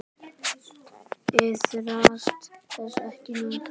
Iðrast þess ekki nú.